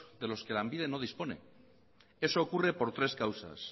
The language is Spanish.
de los que lanbide no dispone eso ocurre por tres causas